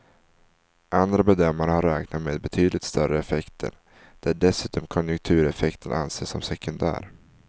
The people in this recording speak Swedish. Andra bedömare har räknat med betydligt större effekter, där dessutom konjunktureffekten anses som sekundär.